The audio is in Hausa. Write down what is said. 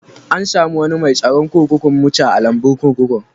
An samu wanni mai tsaron kurkuku muce a'lambun kurkukun.